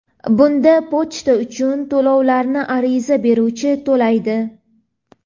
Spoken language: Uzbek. Bunda pochta uchun to‘lovlarni ariza beruvchi to‘laydi.